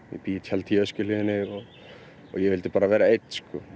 ég bý í tjaldi í Öskjuhlíðinni og ég vildi bara vera einn